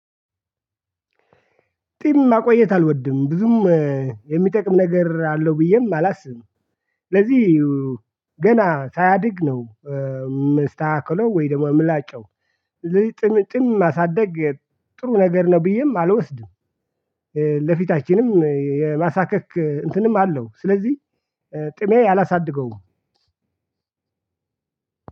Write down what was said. ጢም ማቆየት አልወድም። ብዙም የሚጠቅም ነገር አለው ብዬም አላስብም። ስለዚህ ገና ሳያድግ ነው የምስተካከታለው ወይ ደግሞ የምላጨው። ጢም ማሳደግ ጥሩ ነገር ነው ብዬም አልወስድም። ለፊታችንም የማሳካክ እንትንም አለው ስለዚህ ጥሜ አላሳድገውም